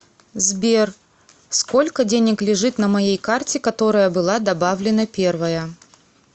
сбер сколько денег лежит на моей карте которая была добавлена первая